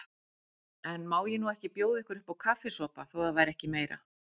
En má ég nú ekki bjóða ykkur uppá kaffisopa, þó ekki væri meira.